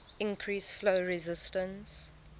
increase flow resistance